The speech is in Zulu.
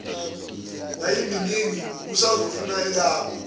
yayiminingi ubusazofuna elakho